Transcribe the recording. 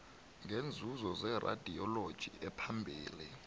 ngeenzuzo zeradioloji ephambili